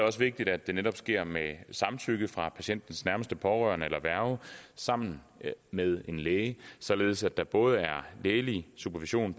også vigtigt at det netop sker med samtykke fra patientens nærmeste pårørende eller værge sammen med en læge således at der både er lægelig supervision